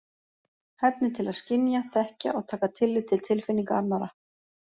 Hæfni til að skynja, þekkja og taka tillit til tilfinninga annarra.